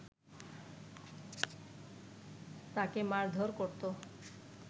তাকে মারধর করতো